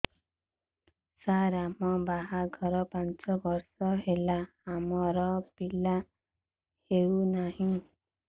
ସାର ଆମ ବାହା ଘର ପାଞ୍ଚ ବର୍ଷ ହେଲା ଆମର ପିଲା ହେଉନାହିଁ